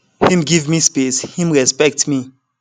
him give me space him respect me